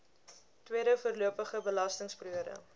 tweede voorlopige belastingperiode